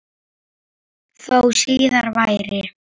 Þó síðar væri.